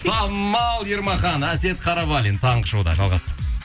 самал ермахан әсет қарабалин таңғы шоуда жалғастырамыз